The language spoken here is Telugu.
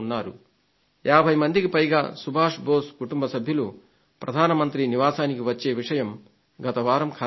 50 మందికి పైగా సుభాష్ బోసు కుటుంబ సభ్యులు ప్రధాన మంత్రి నివాసానికి వచ్చే విషయం గత వారం ఖరారైంది